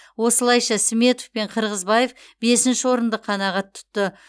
осылайша сметов пен қырғызбаев бесінші орынды қанағат тұтты